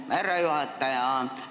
Härra juhataja!